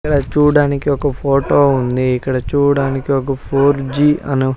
ఈడ చూడడానికి ఒక ఫోటో ఉంది ఇక్కడ చూడడానికి ఒక ఫోర్ జి అనే.